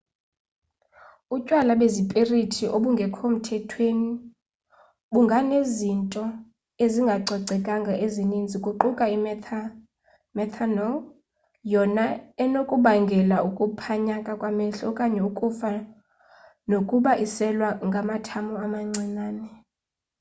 utywala bezipirithi obungekho mthethweni bunganezinto ezingacocekanga ezininzi kuquka imethanol yona enokubangela ukuphanyaka kwamehlo okanye ukufa nokuba iselwa ngamathamo amancinane